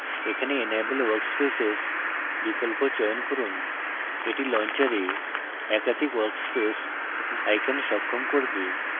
এখানে enable workspaces বিকল্প চয়ন করুন